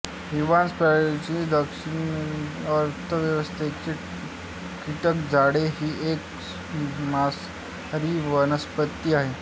Venus flytrap मक्षिकापंजरशब्दशः अर्थ व्हीनसचे कीटक जाळे ही एक मांसाहारी वनस्पती आहे